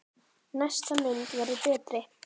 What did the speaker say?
Næsta mynd verður betri!